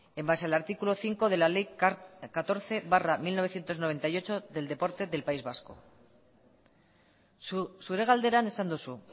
en base al artículo cinco de la ley catorce barra mil novecientos noventa y ocho del deporte del país vasco zure galderan esan duzu